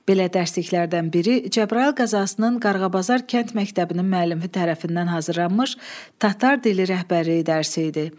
Belə dərsliklərdən biri Cəbrayıl qəzasının Qarğabazar kənd məktəbinin müəllifi tərəfindən hazırlanmış Tatar dili rəhbərliyi dərsi idi.